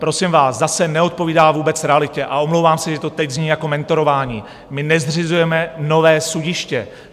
Prosím vás, zase neodpovídá vůbec realitě, a omlouvám se, že to teď zní jako mentorování - my nezřizujeme nové sudiště.